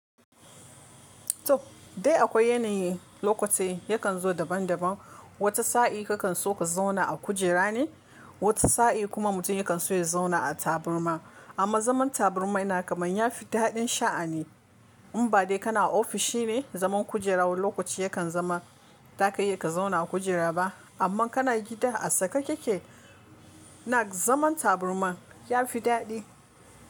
To dai akwai yanayi, lokatai yakan zo daban daban. Wata sa'i kakan so ka zauna a kujera ne, wata sa'i kuma mutum yakan so ya zauna a taburma. Amma zaman taburma yana kamar ya fi daɗin sha'ani. In ba dai kana ofishi ne, zaman kujera wani lokaci yakan zama, ba ka iya ka zauna a kujera ba. Amma kana gida a saka keke, nak zaman taburma ya fi daɗi.